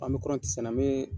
An be kɔrɔnti sɛnɛ, an bi